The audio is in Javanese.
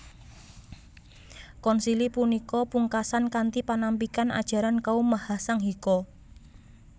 Konsili punika pungkasan kanthi panampikan ajaran kaum Mahasanghika